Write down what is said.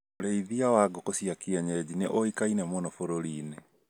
Urĩithia wa ngũkũ cia kĩenyeji nĩ ũĩkaine mũno bũrũri inĩ